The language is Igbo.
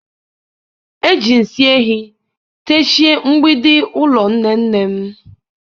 Eji nsị ehi techie mgbidi ụlọ nne nne m.